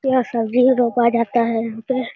तो यहां सब्जी रोपा जाता है यहां पे।